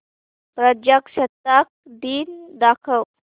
प्रजासत्ताक दिन दाखव